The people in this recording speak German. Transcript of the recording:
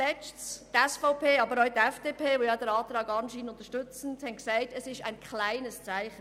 Zweitens: Die SVP, aber auch die FDP, die den Antrag anscheinend unterstützt, haben gesagt, es handle sich dabei um ein kleines Zeichen.